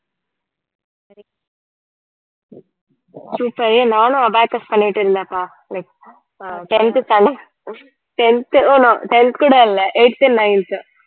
super ஏ நானும் abacus பண்ணிட்டிருந்தேன்ப்பா like ah tenth standard tenth no no tenth கூட இல்ல eighth nineth